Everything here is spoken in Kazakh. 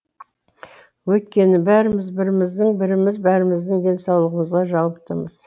өйткені бәріміз біріміздің біріміз бәріміздің денсаулығымызға жауаптымыз